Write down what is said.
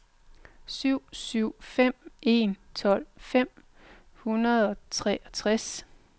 syv syv fem en tolv fem hundrede og treogtres